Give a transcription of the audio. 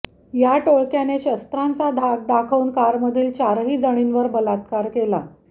या टोळक्याने शस्त्रांचा धाक दाखवून कारमधील चारही जणींवर बलात्कार केला